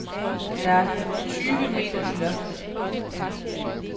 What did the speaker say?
Der er tyve meter til loftet.